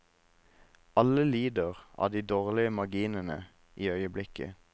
Alle lider av de dårlige marginene i øyeblikket.